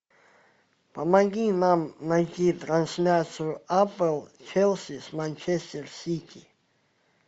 помоги нам найти трансляцию апл челси с манчестер сити